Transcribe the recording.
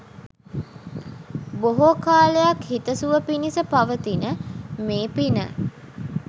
බොහෝ කාලයක් හිතසුව පිණිස පවතින මේ පින